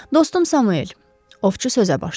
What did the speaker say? Dostum Samuel, ovçu sözə başladı.